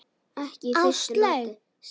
Ekki í fyrstu lotu!